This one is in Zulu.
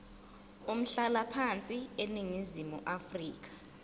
umhlalaphansi eningizimu afrika